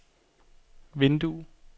vindue